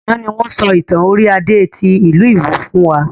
Àná ni wọn sọ ìtàn orí Adé tí ìlú ìwó fún wa